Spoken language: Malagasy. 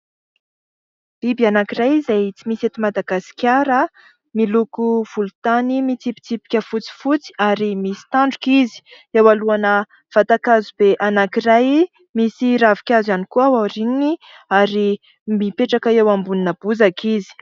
Biby anankiray izay tsy misy eto Madagasikara, miloko volontany mitsipitsipika fotsifotsy ary misy tandroka izy. Eo anoloana vatan-kazo be anankiray, misy ravinkazo ihany koa ao aoriany ary mipetraka eo ambonin'ny bozaka izy.